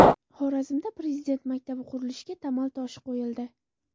Xorazmda Prezident maktabi qurilishiga tamal toshi qo‘yildi.